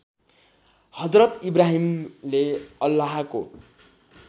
हजरत इब्राहिमले अल्लाहको